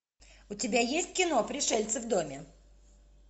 у тебя есть кино пришельцы в доме